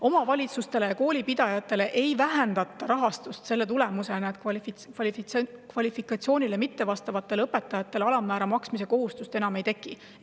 Omavalitsuste ja koolipidajate rahastust selle tulemusena ei vähendata, et kvalifikatsioonile mittevastavatele õpetajatele alammäära maksmise kohustust enam ei teki.